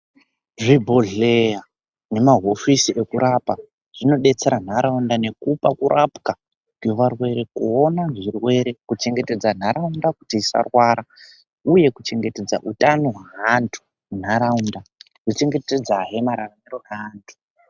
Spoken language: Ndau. Zvibhohleya nemaaofisi ekurapa zvinodetsera ndaraunda ngekupa kurapwa kwevarwere nekuona zvirwere kuchengetedza nharaunda kuti usarwara uye kuchengetedza hutano hwevantu mundaraunda uchichengetedza he mararamiro evantu.